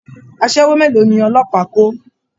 Aṣẹ́wó mélòó ni ọlọ́pàá kó!